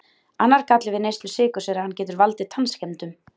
Annar galli við neyslu sykurs er að hann getur valdið tannskemmdum.